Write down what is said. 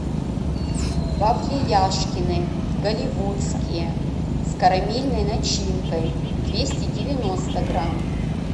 вафли яшкино голливудские с карамельной начинкой двести девяносто грамм